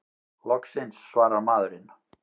Loksins svarar maðurinn!